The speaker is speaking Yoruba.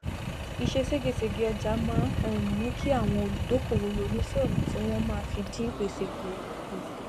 ìse ségesège ọjà máá um mú kí àwọn olùdókòwò ronú sí òna tí wọn máa fi dín gbèsè kù kù